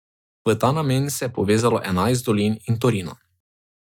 V ta namen se je povezalo enajst dolin in Torino.